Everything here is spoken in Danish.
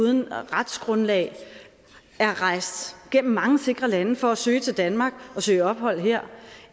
uden retsgrundlag er rejst gennem mange sikre lande for at søge til danmark og søge ophold her